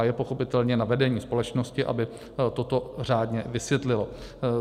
A je pochopitelně na vedení společnosti, aby toto řádně vysvětlilo.